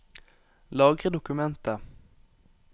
Lagre dokumentet